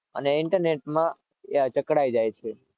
અને internet માં જકડાય જાય છે